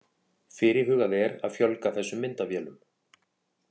Fyrirhugað er að fjölga þessum myndavélum